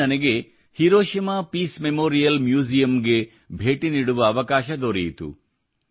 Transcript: ಅಲ್ಲಿ ನನಗೆ Hiroshima peace memorial museum ಗೆ ಭೇಟಿ ನೀಡುವ ಅವಕಾಶ ದೊರೆಯಿತು